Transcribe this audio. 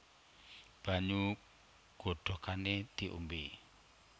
Banyu godhogané diombé